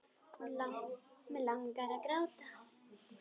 Og mig langar að gráta.